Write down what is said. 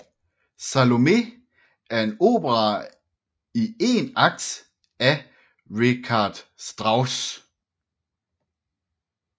Salome er en opera i én akt af Richard Strauss